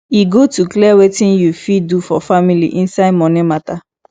e good to clear wetin you fit do for family inside money mata